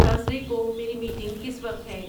Thursday کو میری meeting کس وقت ہے